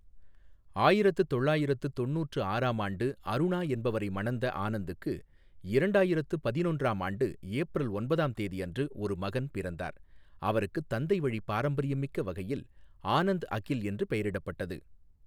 ஆயிரத்து தொள்ளாயிரத்து தொண்ணுற்று ஆறாம் ஆண்டு அருணா என்பவரை மணந்த ஆனந்துக்கு, இரண்டாயிரத்து பதினொன்றாம் ஆண்டு ஏப்ரல் ஒன்பதாம் தேதி அன்று ஒரு மகன் பிறந்தார், அவருக்குத் தந்தை வழி பாரம்பரியமிக்க வகையில் ஆனந்த் அகில் என்று பெயரிட்டப்பட்டது.